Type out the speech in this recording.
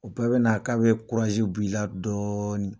O bɛɛ bɛna na k'a bɛ kurasi b'ila la dɔɔni